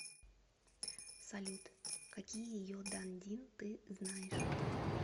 салют какие йодандин ты знаешь